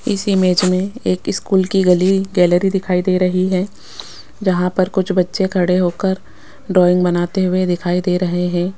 इस इमेज में एक स्कूल की गली गैलरी दिखाई दे रही है जहां पर कुछ बच्चे खड़े होकर ड्राइंग बनाते हुए दिखाई दे रहे हैं।